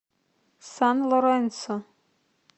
сан лоренсо